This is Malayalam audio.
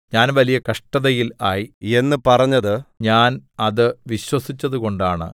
ഞാൻ വലിയ കഷ്ടതയിൽ ആയി എന്ന് പറഞ്ഞത് ഞാൻ അത് വിശ്വസിച്ചതുകൊണ്ടാണ്